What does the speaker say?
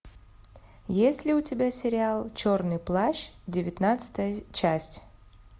есть ли у тебя сериал черный плащ девятнадцатая часть